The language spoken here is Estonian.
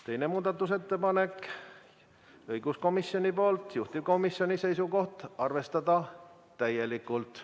Teine muudatusettepanek on õiguskomisjonilt, juhtivkomisjoni seisukoht: arvestada täielikult.